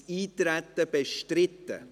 Ist das Eintreten bestritten?